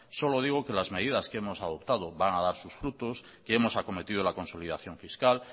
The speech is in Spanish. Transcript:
solo digo que las medidas que hemos adoptado van a dar sus frutos que hemos acometido la consolidación fiscal